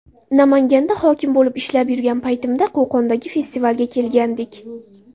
Namanganda hokim bo‘lib ishlab yurgan paytimda, Qo‘qondagi festivalga kelgandik.